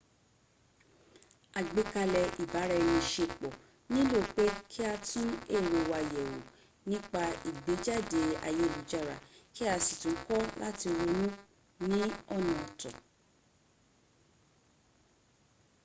àgbékalẹ̀ ibara-ẹni-ṣepọ̀ nílò pé kí a tún èrò wa yẹ̀wò nípa ìgbéjáde ayélujára kí a sì kọ́ láti ronú ní ọ̀nà ọ̀tọ